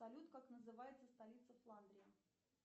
салют как называется столица фландрии